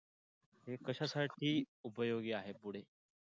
हे कशासाठी उपयोगी आहे पुढे?